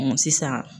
sisan